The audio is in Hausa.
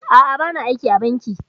A'a, ba na aiki a banki